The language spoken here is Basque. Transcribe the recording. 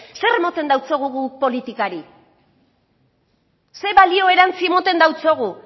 zer emoten deutsogu guk politikari zer balio erantsi emoten deutsogu